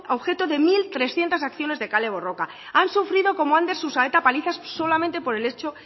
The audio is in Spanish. objeto de mil trescientos acciones de kale borroka han sufrido como ander susaeta palizas solamente por el hecho